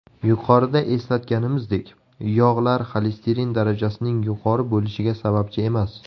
Yuqorida eslatganimizdek, yog‘lar xolesterin darajasining yuqori bo‘lishiga sababchi emas.